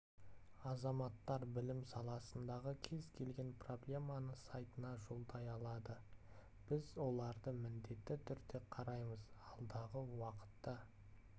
азаматтар білім саласындағы кез келген проблеманы сайтына жолдай алады біз оларды міндетті түрде қараймыз алдағы уақытта